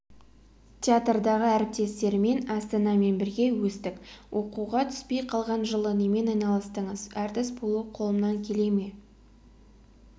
театрдағы әріптестерімен астанамен бірге өстік оқуға түспей қалған жылы немен айналыстыңыз әртіс болу қолымнан келе ме